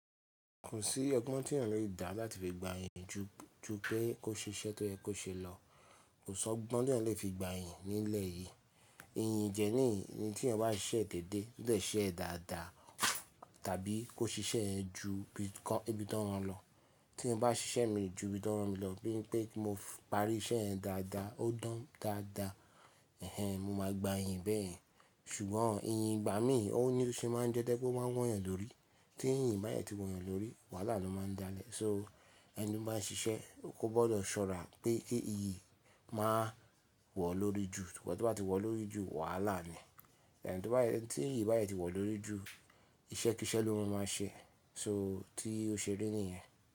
Kò sí ọgbọ́n tí ènìyàn lè dá láti fi gba yìnyìn ju, ju pé kó ṣe iṣẹ́ tó yẹ kó ṣe lọ. Kò sọ́ ọgbọ́n tí ènìyàn lè fi gba yìnyìn nílẹ̀ yìí. Yìnyìn jẹ́ níyìí tí ènìyàn bá ṣe ẹ̀ dédé títẹ́ ṣe ẹ̀ dáadáa tàbí kó ṣe iṣẹ́ ẹ ju ibi tí ó rán lọ. Tí mo bá ṣe iṣẹ́ mi ju ibi tí ó rán mi lọ bí i pé kí mo parí iṣẹ́ ẹ dáadáa ó dán dáadáa, ẹhen mo máa gba yìnyìn bẹ́ẹ̀. Ṣùgbọ́n yìnyìn ìgbà mí ò ní ṣe máa ń jẹ́ ẹ́ dẹ́ kó máa wù n ènìyàn lórí. Tí yìnyìn bá yẹ ti wọ́n ènìyàn lórí, wàhálà ni ó máa ń dálẹ̀. So ẹni bá n ṣe iṣẹ́ kó gbọ́dọ̀ ṣọ́ra pé kí èyí máa wọ̀ lórí jù, ṣùgbọ́n tí wọ́n bá ti wọ̀ lórí jù wàhálà ni. Ẹ̀ni tí yìnyìn bá yẹ ti wọ̀ lórí jù iṣẹ́ kí iṣẹ́ ló ọmọ máa ṣe, so tí ó ṣe rí nìyẹn.